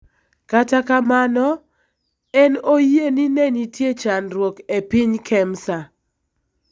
Kata kamano, en oyie ni ne nitie chandruok e piny Kemsa .